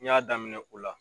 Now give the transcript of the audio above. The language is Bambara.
N y'a daminɛ o la